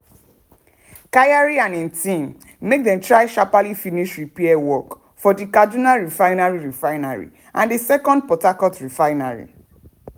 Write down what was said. kyari and im team make dem try sharply finish repair work for di kaduna refinery refinery and di second port harcourt refinery.